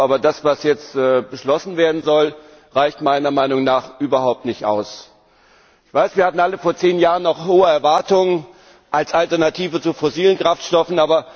Aber das, was jetzt beschlossen werden soll, reicht meiner Meinung nach überhaupt nicht aus. Ich weiß, wir hatten alle vor zehn Jahren noch hohe Erwartungen an diese Treibstoffe als Alternative zu fossilen Kraftstoffen.